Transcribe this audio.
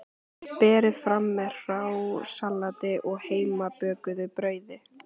Berið fram með hrásalati og heimabökuðu brauði.